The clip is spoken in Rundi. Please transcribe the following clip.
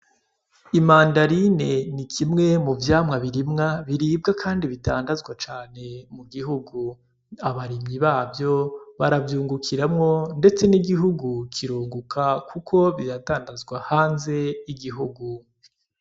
Imandarine ni kimwe mu vyamwa birimwa, biribwa kandi bidandazwa cane mu gihugu, abarimyi bavyo baravyungukiramwo ndetse n’igihugu kirunguka kuko biradandazwa hanze y'igihugu.